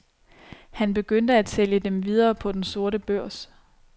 Han begyndt at sælge dem videre på den sorte børs.